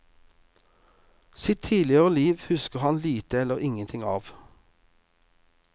Sitt tidligere liv husker han lite eller ingenting av.